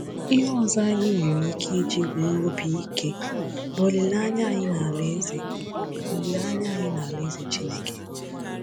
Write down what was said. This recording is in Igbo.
Ihe ọzọ anyị nwere ike iji nwee obi ike bụ olileanya anyị n’Alaeze olileanya anyị n’Alaeze Chineke.